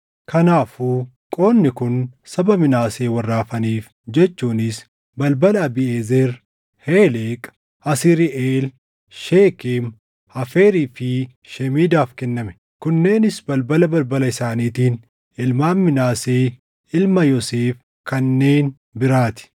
Kanaafuu qoodni kun saba Minaasee warra hafaniif jechuunis balbala Abiiʼezer, Heleq, Asriiʼeel, Sheekem, Heeferii fi Shemiidaaf kenname. Kunneenis balbala balbala isaaniitiin ilmaan Minaasee ilma Yoosef kanneen biraa ti.